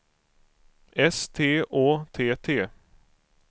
S T Å T T